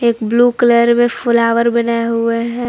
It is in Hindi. ब्लू कलर में फ्लावर बनाए हुए हैं।